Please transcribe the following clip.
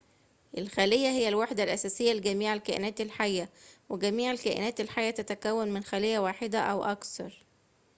الخلية هي الوحدة الأساسية لجميع الكائنات الحية وجميع الكائنات الحية تتكون من خلية واحدة أو أكثر